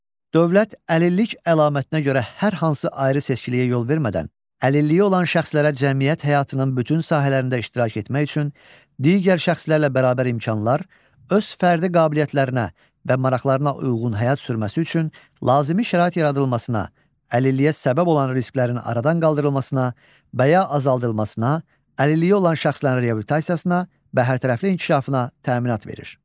Dövlət əlillik əlamətinə görə hər hansı ayrı seçkiliyə yol vermədən əlilliyi olan şəxslərə cəmiyyət həyatının bütün sahələrində iştirak etmək üçün digər şəxslərlə bərabər imkanlar, öz fərdi qabiliyyətlərinə və maraqlarına uyğun həyat sürməsi üçün lazımi şərait yaradılmasına, əlilliyə səbəb olan risklərin aradan qaldırılmasına və ya azaldılmasına, əlilliyi olan şəxslərin reabilitasiyasına və hərtərəfli inkişafına təminat verir.